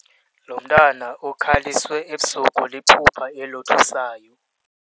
Lo mntwana ukhaliswe ebusuku liphupha elothusayo.